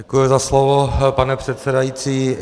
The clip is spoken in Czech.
Děkuji za slovo, pane předsedající.